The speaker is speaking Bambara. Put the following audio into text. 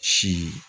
Si